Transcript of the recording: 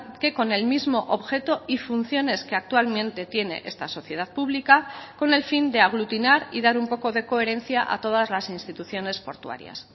que con el mismo objeto y funciones que actualmente tiene esta sociedad pública con el fin de aglutinar y dar un poco de coherencia a todas las instituciones portuarias